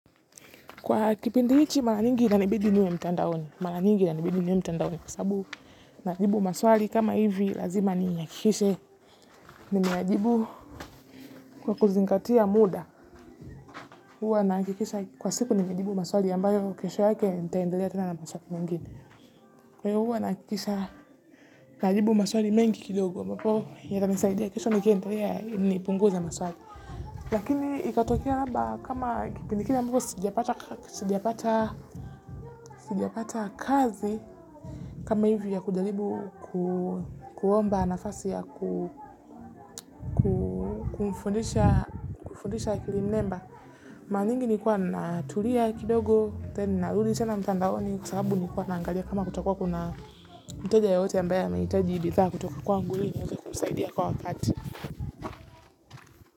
Kwa kipindi hiji mara nyingi inabidi niwe mtandaoni, kwa sabu nalibu maswali kama hivi, lazima niyakikishe, nimeyajibu kwa kuzingatia muda, huwa nakikisha kwa siku nimeyajibu maswali ambayo kisho yake nitiendelea tena na maswali mingini. Kwa huwa nakikisha nalibu maswali mengi kidogo ambapo yatanisaidia kisho nikiendelea niipunguza maswali. Lakini ikatokea labda kama kipindiki kile ambapo sijapata sijiapata kazi kama hivyo ya kujalibu kuomba nafasi ya kumfundisha akili mnemba. Mara mingi nilikuwa natulia kidogo tena narudi mtandaoni kwa sababu nilkuwa naangalia kama kutakuwa kuna mteja yeyote ambaye anahitaji bidaa kutoka kwangu hili niweze kumsaidia kwa wakati.